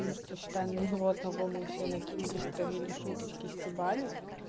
потому что считай на него одного мы все накинулись травили шуточки стебали